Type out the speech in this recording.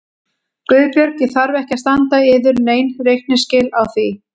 GUÐBJÖRG: Ég þarf ekki að standa yður nein reikningsskil á því.